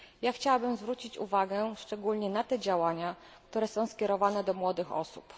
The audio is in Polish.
Chciałabym zwrócić uwagę szczególnie na te działania, które są skierowane do młodych osób.